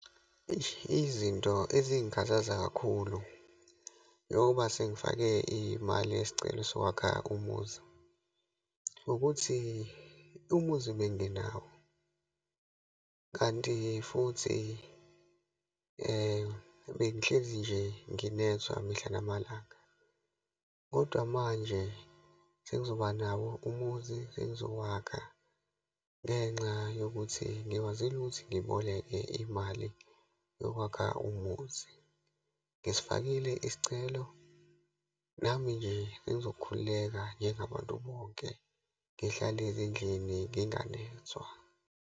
Eish, izinto ezingakhathaza kakhulu, njengoba sengifake imali yesicelo sokwakha umuzi, ukuthi umuzi obenginawo, kanti futhi bengihlezi nje nginethwa mihla namalanga. Kodwa manje sengizoba nawo umuzi, sengizokwakha ngenxa yokuthi ngikwazile ukuthi ngiboleke imali yokwakha umuzi. Ngisifakile isicelo, nami nje sengizokhulekela njengabantu bonke, ngihlale ezindlini nginganethwa.